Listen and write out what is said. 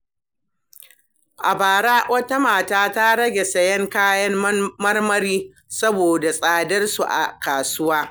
A bara, wata mata ta rage siyan kayan marmari saboda tsadar su a kasuwa.